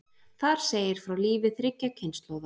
Þar segir frá lífi þriggja kynslóða.